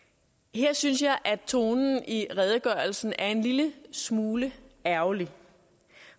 her synes jeg at tonen i redegørelsen er en lille smule ærgerlig